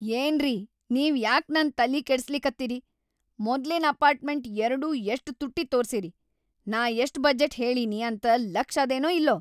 ಏನ್ರಿ ನೀವ್‌ ಯಾಕ್‌ ನನ್‌ ತಲಿ ಕೆಡಸ್ಲಿಕತ್ತೀರಿ. ಮೊದ್ಲಿನ್ ಅಪಾರ್ಟ್‌ಮೆಂಟ್‌‌ ಎರ್ಡೂ ಎಷ್ಟ್‌ ತುಟ್ಟಿ ತೋರ್ಸಿರಿ. ನಾ ಎಷ್ಟ್‌ ಬಜೆಟ್‌ ಹೇಳಿನಿ ಅಂತ್‌ ಲಕ್ಷ್ ಅದನೋ ಇಲ್ಲೋ.